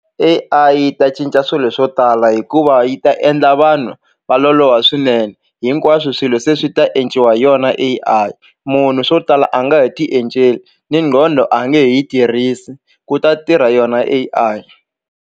A_I yi ta cinca swilo swo tala hikuva yi ta endla vanhu va loloha swinene hinkwaswo swilo se swi ta endliwa hi yona A_I munhu swo tala a nge he ti enceli ni nqhondo a nge yi tirhisi ku ta tirha yona A_I.